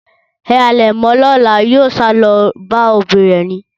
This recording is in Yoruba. Ẹ halẹ̀ mọ lọ́la, yóò sálọ bá òbí rẹ̀ ni.